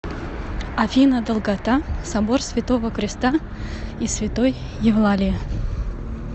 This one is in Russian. афина долгота собор святого креста и святой евлалии